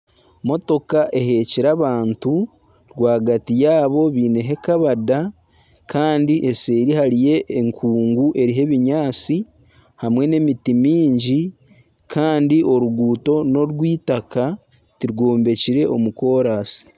Motoka ehekyire abantu, rwagati yaabo beineho ekabada Kandi eseeri hariyo enkungu eriho ebinyaatsi hamwe n'emiti miingi Kandi oruguuto norw'eitaka tirwombekyire omu koransi